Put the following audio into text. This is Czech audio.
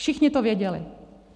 Všichni to věděli.